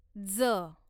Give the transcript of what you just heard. ज